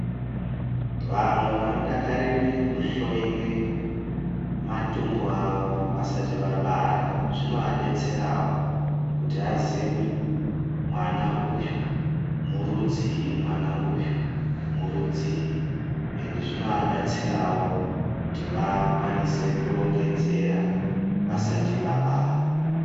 Vamwe vanodakarire kuhloiwe matumbu avo vasati vabara zvinovadetserawo kuti aziye kuti mwana uyu murudzii, uye zvinoadetserawo kuti vakwanisewo kurongedzera vasati vabara.